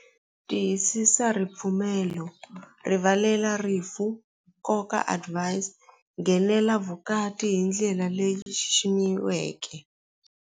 Tiyisisa ripfumelo rivalela rifu nkoka advise nghenela vukati hi ndlela leyi yi xiximiweke.